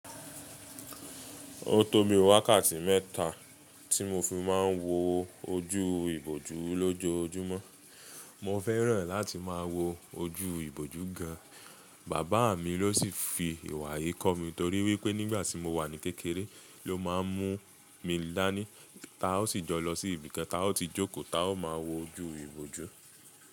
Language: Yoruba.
O tó bi wákàtí mẹ́ta tí mo fi máa ń wo ojú ìbòjú lójoojúmọ́. Mo fẹ́ràn láti máa wo ojú ìbòjú gan, bàbá mi ló sì fi ìwà yìí kọ́ mi torí wípé nígbà tí mo wà ní kékeré ló máa ń mú mi dání, ta ó sì jọ lọ sí ibìkan, ta ó ti jókòó, ta ó máa wo ojú ìbòjú.